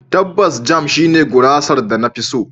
Tabbas, Jam shine gurasar da na fi so.